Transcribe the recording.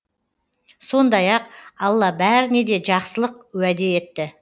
сондай ақ алла бәріне де жақсылық уәде етті